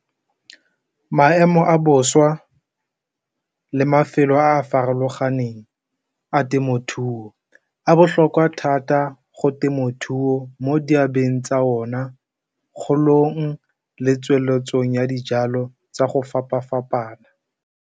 Maemo a bošwa le mafelo a a farologaneng a temothuo a botlhokwa thata go temothuo mo diabeng tsa ona, kgolong, le tsweletsong ya dijalo tsa go fapa fapana.